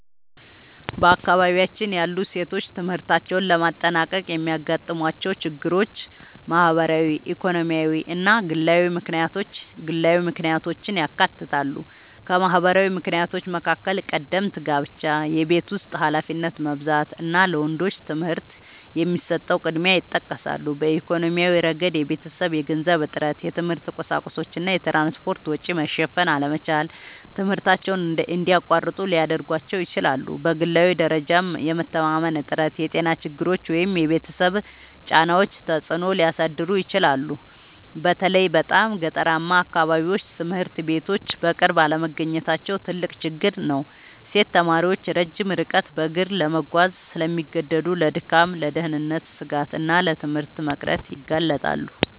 በአካባቢያችን ያሉ ሴቶች ትምህርታቸውን ለማጠናቀቅ የሚያጋጥሟቸው ችግሮች ማህበራዊ፣ ኢኮኖሚያዊ እና ግላዊ ምክንያቶችን ያካትታሉ። ከማህበራዊ ምክንያቶች መካከል ቀደምት ጋብቻ፣ የቤት ውስጥ ኃላፊነት መብዛት እና ለወንዶች ትምህርት የሚሰጠው ቅድሚያ ይጠቀሳሉ። በኢኮኖሚያዊ ረገድ የቤተሰብ የገንዘብ እጥረት፣ የትምህርት ቁሳቁሶች እና የትራንስፖርት ወጪ መሸፈን አለመቻል ትምህርታቸውን እንዲያቋርጡ ሊያደርጋቸው ይችላል። በግላዊ ደረጃም የመተማመን እጥረት፣ የጤና ችግሮች ወይም የቤተሰብ ጫናዎች ተጽዕኖ ሊያሳድሩ ይችላሉ። በተለይ በጣም ገጠራማ አካባቢዎች ትምህርት ቤቶች በቅርብ አለመገኘታቸው ትልቅ ችግር ነው። ሴት ተማሪዎች ረጅም ርቀት በእግር ለመጓዝ ስለሚገደዱ ለድካም፣ ለደህንነት ስጋት እና ለትምህርት መቅረት ይጋለጣሉ